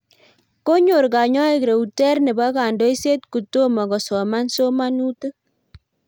konyor konynoiik Reuterr nebo kondoiset kotumo kosoman somanutik